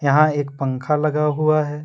यहां एक पंखा लगा हुआ है।